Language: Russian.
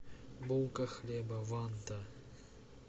булка хлеба ванта